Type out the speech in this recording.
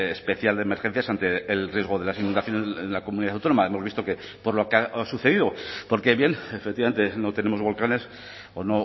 especial de emergencias ante el riesgo de las inundaciones en la comunidad autónoma hemos visto que por lo que ha sucedido porque bien efectivamente no tenemos volcanes o